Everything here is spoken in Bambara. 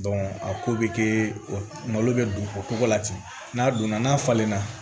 a ko bɛ kɛ o malo bɛ don o ko la ten n'a donna n'a falenna